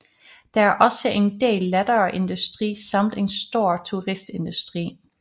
Der er også en del lettere industri samt en stor turistindustri